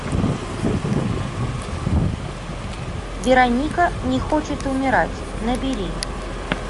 вероника не хочет умирать набери